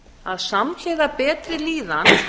að samhliða betri líðan